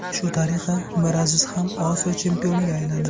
Shu tariqa Miraziz ham Osiyo chempioniga aylandi.